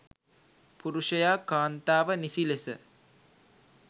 පුරුෂයා කාන්තාව නිසි ලෙස